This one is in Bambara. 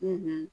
Ne bɛ